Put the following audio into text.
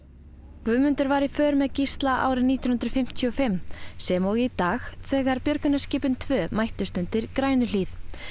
Guðmundur var í för með Gísla árið nítján hundruð fimmtíu og fimm sem og í dag þegar björgunarskipin tvö mættust undir Grænuhlíð